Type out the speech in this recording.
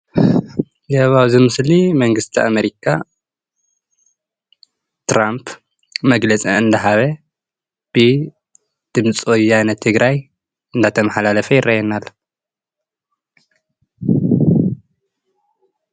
ያው ኣብዚ ምስሊ መንግስቲ ኣሜሪካ ትራምፕ መግለፂ እንዳሃበ ብድምፂ ወያነ ትግ ራይ እናተመሓላለፈ ይረአየና ኣሎ፡፡